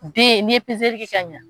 Den n'i ye kɛ ka ɲɛ.